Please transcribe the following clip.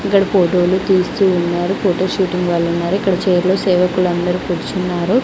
ఇక్కడ ఫోటోలు తీస్తూ ఉన్నారు ఫోటో షూటింగ్ వాళ్ళున్నారు ఇక్కడ చైర్ లో సేవకులందరూ కూర్చున్నారు.